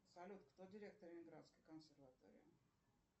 салют кто директор ленинградской консерватории